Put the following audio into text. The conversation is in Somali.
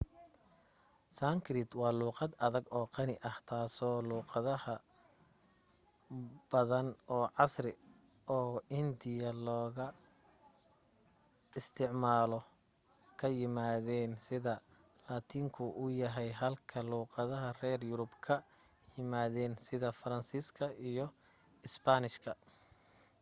sankrit waa luuqad adag oo qani ah taasoo luuqada badan oo casri oo hindiya laga isticmaalo ka yimaadeen sida laatiinku u yahay halka luuqadaha reer yurub ka yimaadeen sida faransiiska iyo isbaanishka